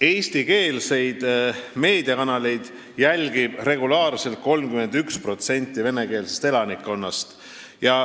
Eestikeelseid meediakanaleid jälgib regulaarselt 31% venekeelsest elanikkonnast.